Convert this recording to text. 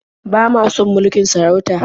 Ba ma son mulkin sarauta.